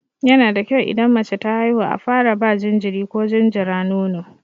Yana da kyau idan mace ta haihu a fara ba jinjiri ko jinjira nono.